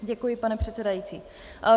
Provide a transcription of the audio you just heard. Děkuji, pane předsedající.